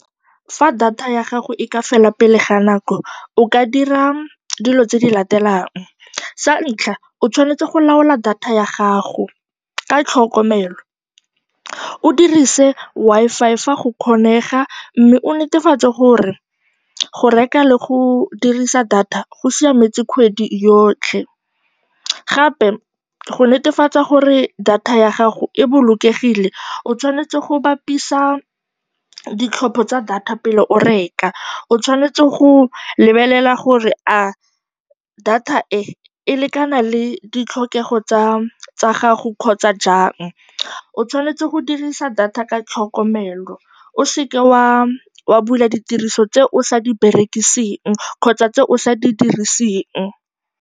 Fa data ya gago e ka fela pele ga nako o ka dira dilo tse di latelang, sa ntlha o tshwanetse go laola data ya gago ka tlhokomelo, o dirise Wi-Fi fa go kgonega mme o netefatse gore go reka le go dirisa data go siametse kgwedi yotlhe. Gape, go netefatsa gore data ya gago e bolokegile o tshwanetse go bapisa ditlhopho tsa data pele o reka, o tshwanetse go lebelela gore a data e e lekana le ditlhokego tsa gago kgotsa jang, o tshwanetse go dirisa data ka tlhokomelo, o se ke wa bula ditiriso tse o sa di berekiseng kgotsa tse o sa di diriseng.